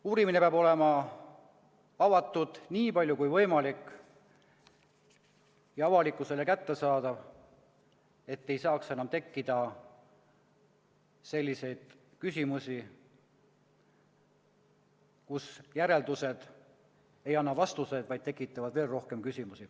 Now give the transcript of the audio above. Uurimine peab olema avatud nii palju kui võimalik ja avalikkusele kättesaadav, et ei saaks enam tekkida selliseid küsimusi, kus järeldused ei anna vastuseid, vaid tekitavad veel rohkem küsimusi.